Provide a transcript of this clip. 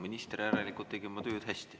Minister tegi järelikult oma tööd hästi.